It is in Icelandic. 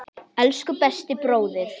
Elsku besti bróðir.